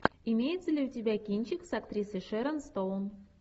имеется ли у тебя кинчик с актрисой шерон стоун